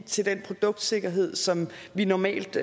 til den produktsikkerhed som vi normalt